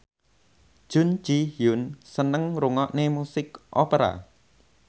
Jun Ji Hyun seneng ngrungokne musik opera